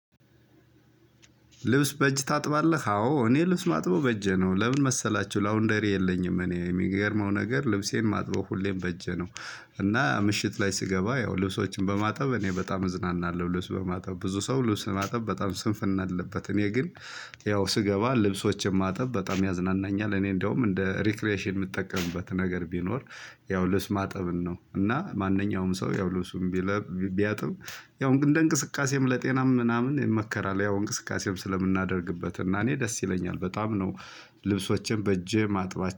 ልብስ በእጅ ታጥባለህ አዎ እኔ ልብስ ማጥበው በእጄ ነው ለምን መሰላችሁ ላውንደሪ የለኝም እኔ የሚገርመው ነገር ልብሴን ማጥበው ሁሌም በእጄ ነው። እና ምሽት ላይ ስገባ ያው ልብሶችን በማጠብ እኔ በጣም እዝናናለሁ ልብስ በማጠብ ብዙ ሰው ልብስ ለማጠብ በጣም ስንፍና አለበት። እኔ ግን። ያው ስገባ ልብሶችን ማጠብ በጣም ያዝናናኛል እኔ እንደውም እንደ ሪክሬሽን የምጠቀምበት ነገር ቢኖር። ያው ልብስ ማጠብን ነው። እና ማንኛውም ሰው ያው ልብሱን ቢለብ ቢያጥብ። ያው እንደ እንቅስቃሴም ለጤናም ምናምን ይመከራል። ያው እንቅስቃሴም ስለምናደርግበት እና እኔ ደስ ይለኛል በጣም ነው። ልብሶቼንበእጄ ማጥባች